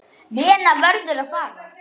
Lena verður að fara.